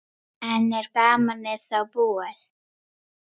En er gamanið þá búið?